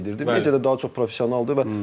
Media da daha çox professionaldır.